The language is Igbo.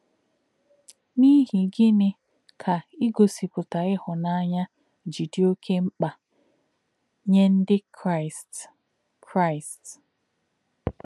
N’íhì̄ gị̄ní̄ kā̄ ígọ̀sìpụ̀tà̄ íhùnà̄nyá̄ jí̄ dì̄ ọ̀kè̄ m̀kpá̄ nyè̄ Ndí̄ Kraị́st? Kraị́st?